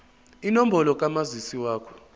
inombolo kamazisi wakho